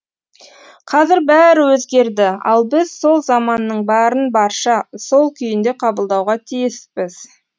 қазір бәрі өзгерді ал біз сол заманның барын барша сол күйінде қабылдауға тиіспіз